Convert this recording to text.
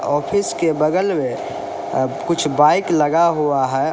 Office के बगल में कुछ बाइक लगा हुआ है।